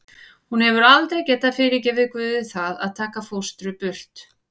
Hún hefur aldrei getað fyrirgefið Guði það að taka fóstru burt.